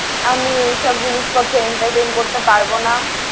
আমি এই সব জিনিস পত্র entertain করতে পারব না।